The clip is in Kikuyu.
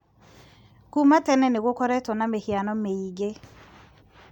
Kuuma tene nĩ gũkoretwo na mĩhiano mĩingĩ